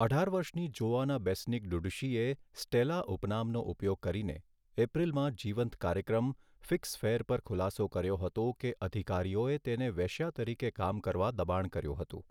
અઢાર વર્ષની Joana Besnik ડુડુશીએ 'સ્ટેલા' ઉપનામનો ઉપયોગ કરીને, એપ્રિલમાં જીવંત કાર્યક્રમ 'ફિક્સ ફેર' પર ખુલાસો કર્યો હતો કે અધિકારીઓએ તેને વેશ્યા તરીકે કામ કરવા દબાણ કર્યું હતું.